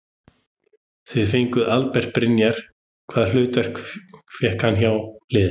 Þið fenguð Albert Brynjar hvaða hlutverk fær hann hjá liðinu?